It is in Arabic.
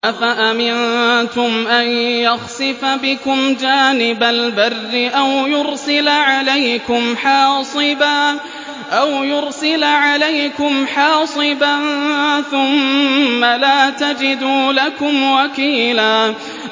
أَفَأَمِنتُمْ أَن يَخْسِفَ بِكُمْ جَانِبَ الْبَرِّ أَوْ يُرْسِلَ عَلَيْكُمْ حَاصِبًا ثُمَّ لَا تَجِدُوا لَكُمْ وَكِيلًا